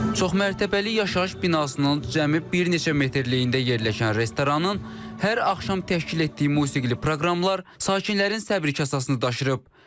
Çoxmərtəbəli yaşayış binasının cəmi bir neçə metrləliyində yerləşən restoranın hər axşam təşkil etdiyi musiqili proqramlar sakinlərin səbr kasasını daşıırıb.